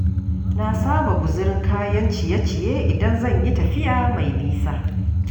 Na saba guzurin kayan ciye-ciye idan zan yi tafiya mai nisa.